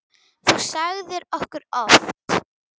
Það sagðir þú okkur oft.